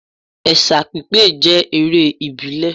Ẹ̀sà pípé jẹ́ eré ìbílẹ̀